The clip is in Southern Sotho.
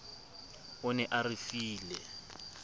o ne a re file